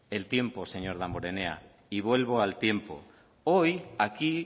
el tiempo señor damborenea y vuelvo al tiempo hoy aquí